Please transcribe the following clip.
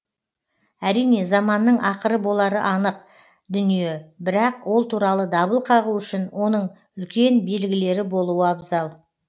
әрине заманның ақыры болары анық дүние бірақ ол туралы дабыл қағу үшін оның үлкен белгілері болуы абзал